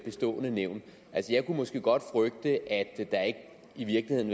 bestående nævn jeg kunne måske godt frygte at der i virkeligheden